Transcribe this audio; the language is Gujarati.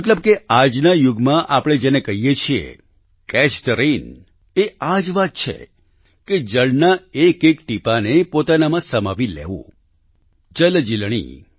મતલબ કે આજના યુગમાં આપણે જેને કહીએ છીએ કેચ થે રેન એ આ જ વાત છે કે જળના એક એક ટીપાંને પોતાનામાં સમાવી લેવું જલજીલણી